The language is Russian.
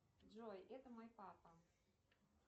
джой это мой папа